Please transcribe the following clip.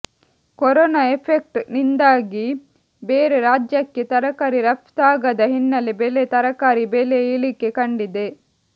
corona effect ನಿಂದಾಗಿ ಬೇರೆ ರಾಜ್ಯಕ್ಕೆ ತರಕಾರಿ ರಫ್ತಾಗದ ಹಿನ್ನೆಲೆ ಬೆಲೆ ತರಕಾರಿ ಬೆಲೆ ಇಳಿಕೆ ಕಂಡಿದೆ